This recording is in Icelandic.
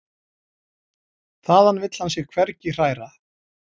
Þaðan vill hann sig hvergi hræra.